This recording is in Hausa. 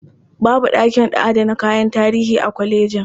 Babu ɗakin adana kayan tarihi a kolejin.